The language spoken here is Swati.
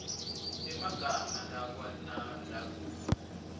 emagama lakua nalakub